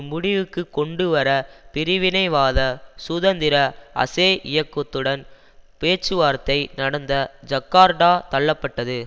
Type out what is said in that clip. முடிவுக்கு கொண்டுவர பிரிவினைவாத சுதந்திர அசே இயக்கத்துடன் பேச்சுவார்த்தை நடந்த ஜக்கார்டா தள்ளப்பட்டது